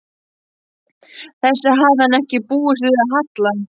Þessu hafði hann ekki búist við af Halla.